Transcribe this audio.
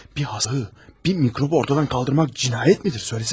Bir haşere, bir mikrobu ortadan kaldırmak cinayet midir söylesene?